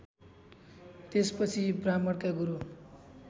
त्यसपछि ब्राह्मणका गुरु